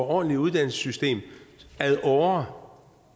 ordentligt uddannelsessystem ad åre